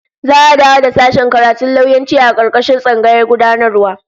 Za'a dawo da sashen karatun lauyanci a karkashin tsangayar gudanarwa